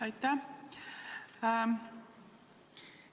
Aitäh!